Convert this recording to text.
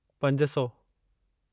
पंज सौ